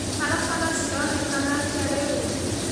barabara cĩronekana atĩa rĩũ